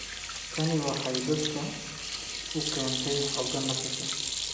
Tani waxay dadka u keentay xoogaa nafis ah.